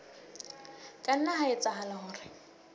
ka nna ha etsahala hore